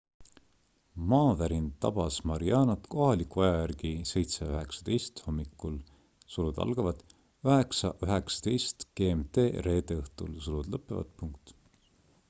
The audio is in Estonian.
maavärin tabas marianat kohaliku aja järgi 07.19 hommikul 09.19 gmt reede õhtul